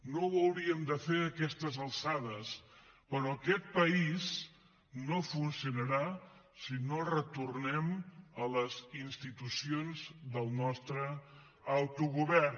no ho hauríem de fer a aquestes alçades però aquest país no funcionarà si no retornem a les institucions del nostre autogovern